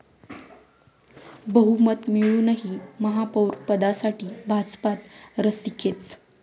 बहुमत मिळूनही महापौरपदासाठी भाजपात रस्सीखेच